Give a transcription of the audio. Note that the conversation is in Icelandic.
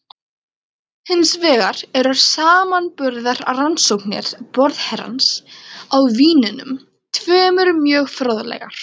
Hins vegar eru samanburðarrannsóknir borðherrans á vínunum tveimur mjög fróðlegar.